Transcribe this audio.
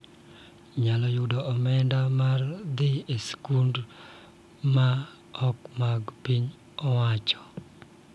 Nyalo yudo omenda mar dhi e skul ma ok mag piny owachoo.